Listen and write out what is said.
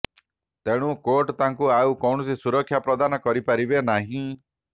ତେଣୁ କୋର୍ଟ ତାଙ୍କୁ ଆଉ କୌଣସି ସୁରକ୍ଷା ପ୍ରଦାନ କରିପାରିବେ ନାହିଁ